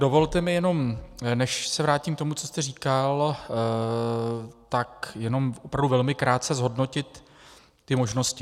Dovolte mi jenom, než se vrátím k tomu, co jste říkal, tak jenom opravdu velmi krátce zhodnotit ty možnosti.